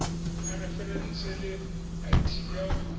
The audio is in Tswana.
ya referense le id ya